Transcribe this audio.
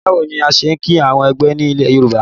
Báwo ni a ṣe ń kìí àwọn àgbẹ̀ ni ilẹ̀ Yorùbá?